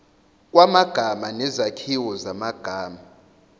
kwamagama nezakhiwo zamagama